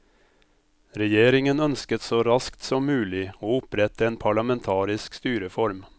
Regjeringen ønsket så raskt som mulig å opprette en parlamentarisk styreform.